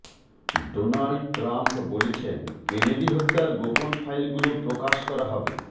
Donald Trump বলেছেন Kennedy হত্যার গোপন ফাইলগুলো প্রকাশ করা হবে